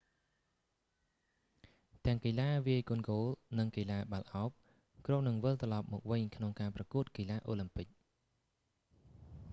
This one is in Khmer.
ទាំងកីឡាវាយកូនគោល និងកីឡាបាល់ឱប គ្រោងនឹងវិលត្រឡប់មកវិញក្នុងប្រកួតកីឡាអូឡាំពិក